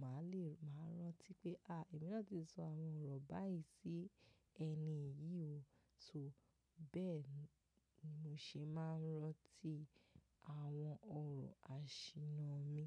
màá le, màá rántí pé àáà èmi náà ti sọ àwọn ọ̀rọ̀ báyìí sí ẹni yìí o. So bẹ́ẹ̀ni mo ṣe máa ń rántí àwọn ọ̀rọ̀ àṣìnnà mi.